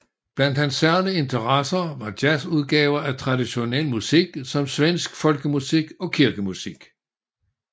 Blandt hans særlige interesser var jazzudgaver af traditionel musik som svensk folkemusik og kirkemusik